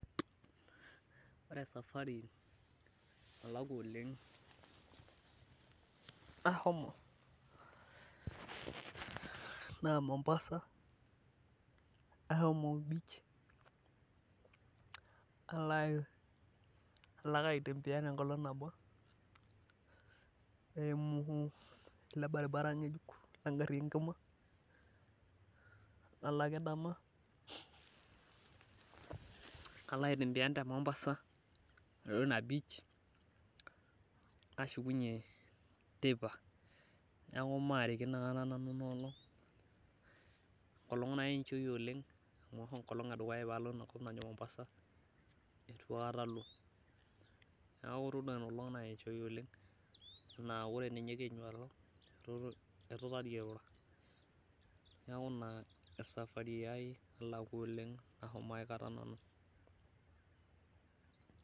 Ore esfari nalakua oleng naa nahomo naa mombasa, ahomo beach alo ake aitembeyan enkolong nabo eimu ele baribara ng'ejuk legari engima nalo ake dama nalo aitimbiyan tina mombasa nashukunyie teipa neeku maarikino aikata nanu enkolong nayechoya oleng' neeku itodua inolong nayechoya oleng, naa ore ninye kenyu alo etu tadii airura neeku ina esafari ai edukuya nalakua.